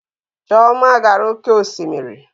Chioma gara oke osimiri